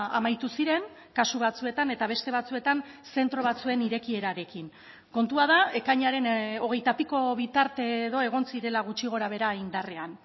amaitu ziren kasu batzuetan eta beste batzuetan zentro batzuen irekierarekin kontua da ekainaren hogeitapiko bitarte edo egon zirela gutxi gorabehera indarrean